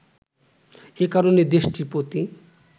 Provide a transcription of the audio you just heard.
এ কারণেই দেশটির প্রতি